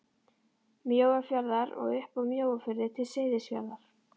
Mjóafjarðar og upp af Mjóafirði til Seyðisfjarðar.